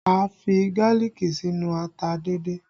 A fi gálíìkì sínú ata díndín